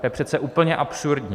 To je přece úplně absurdní!